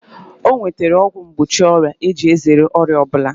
O nwetara ọgwụ mgbochi ọrịa iji zere ọrịa ọ bụla